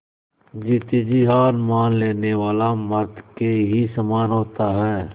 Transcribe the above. जीते जी हार मान लेने वाला मृत के ही समान होता है